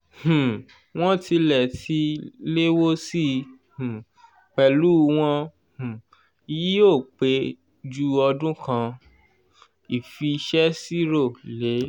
um wọ́n tilẹ̀ ti léwó sí i um pẹ̀lú wọn um yí ò pé jù ọdún kan ìfisèsirò lo